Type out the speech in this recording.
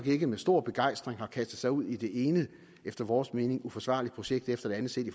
ikke med stor begejstring har kastet sig ud i det ene efter vores mening uforsvarlige projekt efter det andet set i